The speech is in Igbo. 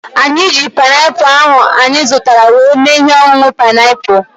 Anyị ji painiapulu ahu anyị zụtara were mee ihe ọṅụṅụ painiapulu